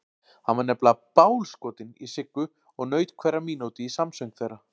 Hann var nefnilega BÁLSKOTINN í Siggu og naut hverrar mínútu í samsöng þeirra.